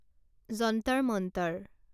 Jantar Mantar